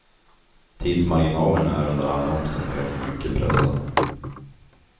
Tidsmarginalerna är under alla omständigheter mycket pressade.